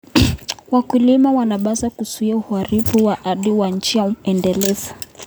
Wakulima wanapaswa kuzuia uharibifu wa ardhi kwa njia endelevu.